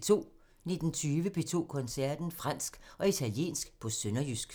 19:20: P2 Koncerten – Fransk og italiensk på sønderjysk